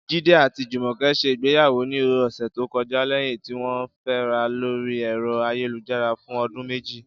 Jídé àti Jùmò̩ke̩ s̩e ìgbéyàwó ní ò̩sè̩ tó ko̩já lé̩yìn tí wó̩n fé̩ra lórí è̩ro̩ ayélujára fún o̩dún méjì